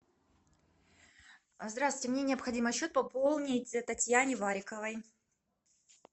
здравствуйте мне необходимо счет пополнить татьяне вариковой